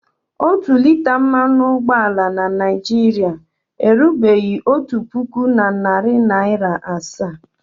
Otu lita mmanụ ụgbọala na Naịjirịa erubeghi otu puku na narị naịra asaa.